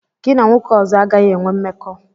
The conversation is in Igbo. Gị na nwoke ọzọ agaghị enwe mmekọ!